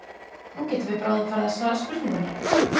Nú getum við bráðum farið að svara spurningunni.